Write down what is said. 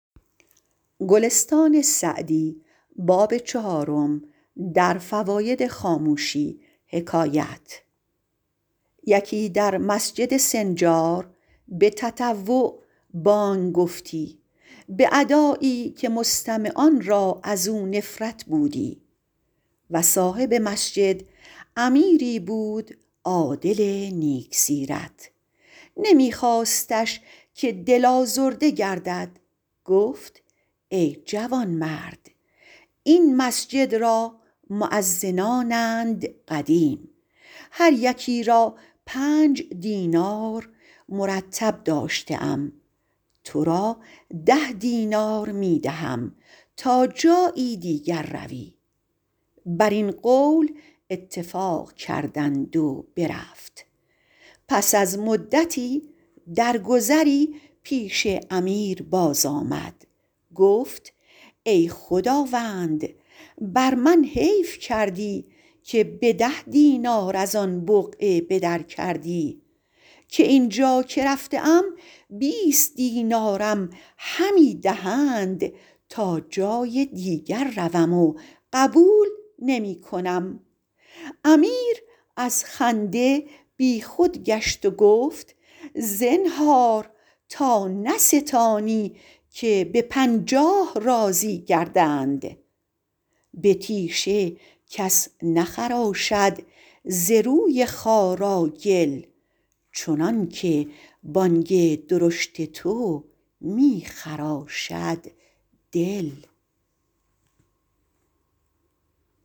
یکی در مسجد سنجار به تطوع بانگ گفتی به ادایی که مستمعان را از او نفرت بودی و صاحب مسجد امیری بود عادل نیک سیرت نمی خواستش که دل آزرده گردد گفت ای جوانمرد این مسجد را مؤذنانند قدیم هر یکی را پنج دینار مرتب داشته ام تو را ده دینار می دهم تا جایی دیگر روی بر این قول اتفاق کردند و برفت پس از مدتی در گذری پیش امیر باز آمد گفت ای خداوند بر من حیف کردی که به ده دینار از آن بقعه به در کردی که این جا که رفته ام بیست دینارم همی دهند تا جای دیگر روم و قبول نمی کنم امیر از خنده بی خود گشت و گفت زنهار تا نستانی که به پنجاه راضی گردند به تیشه کس نخراشد ز روی خارا گل چنان که بانگ درشت تو می خراشد دل